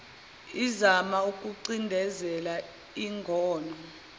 izama ukucindezela ingono